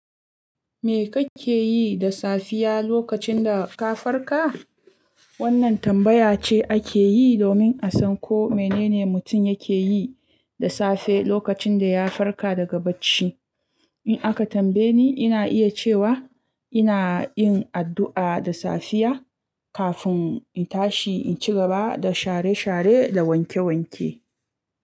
Me kake yi da safiya lokacin da ka farka? Wannan tambaya ce ake yi, domin a san ko mene ne mutum yake yi da safe, lokacin da ya farka daga bacci. In aka tambaye ni, ina iya cewa ina yin addu'a da safiya kafin in tashi in ci gaba da share-share da wanke-wanke.